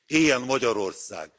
Éljen Magyarország!